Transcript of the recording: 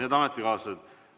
Head ametikaaslased!